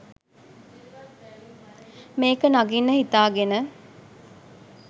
මේක නගින්න හිතාගෙන